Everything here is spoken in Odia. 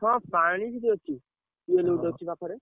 ହଁ ପାଣି ସେଠି ଅଛି, tubewell ଗୋଟେ ଅଛି ପାଖରେ।